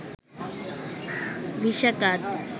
visa card